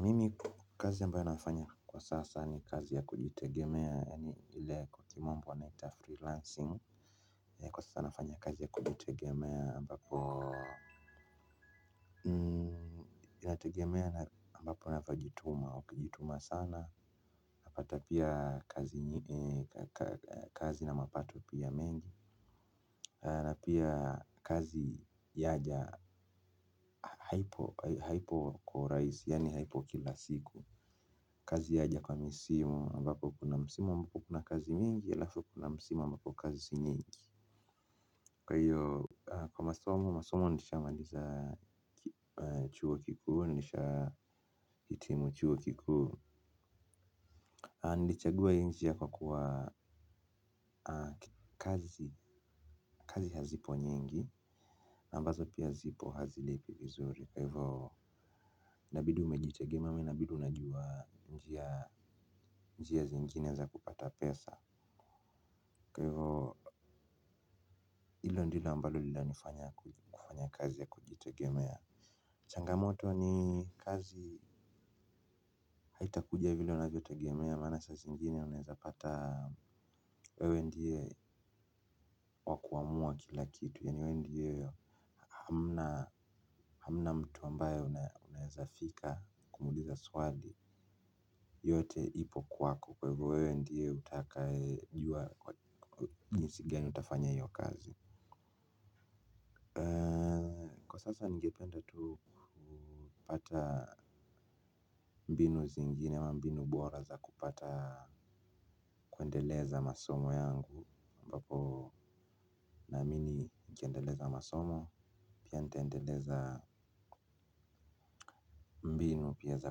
Mimi kazi ambayo nafanya kwa sasa ni kazi ya kujitegemea yani ile kwa kimombo wanaita freelancing. Kwa sasa nafanya kazi ya kujitegemea ambapo inategemea ambapo navyojituma ukijituma sana. Napata pia kazi na mapato pia mengi na pia kazi yaja haipo kwa rahisi yani haipo kila siku. Kazi yaja kwa misimu ambapo kuna misimu ambapo kuna kazi mingi alafu kuna misimu ambapo kazi si nyingi. Kwa hiyo kwa masomo, masomo nishamaliza chuo kikuu, nishahitimu chuo kikuuu. Nilichagua hii njia kwakuwa kazi kazi hazipo nyingi ambazo pia zipo hazilipi vizuri. Kwa hivyo inabidi umejitegemea au inabidi unajua njia zingine za kupata pesa. Kwa hivyo hilo ndilo ambalo lilanifanya kufanya kazi ya kujitegemea. Changamoto ni kazi haiitakuja vile unavyotegemea maana saa zingine unaweza pata wewe ndie wa kuamua kila kitu, yaani wewe ndiye hamnaa. Hamna mtu ambaye unaweza fika kumuuliza swali yote ipo kwako kwahivyo wewe ndo utajua jinsj gani utafanya hiyo kazi. Kwa sasa ningependa tu kupata mbinu zingine ama mbinu bora za kupata kuendeleza masomo yangu ambapo naamini nikiendeleza masomo pia niteendeleza mbinu pia za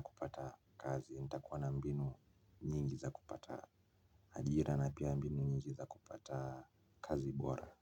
kupata kazi nitakuwa na mbinu nyingi za kupata ajira na pia mbinu nyingi za kupata kazi bora.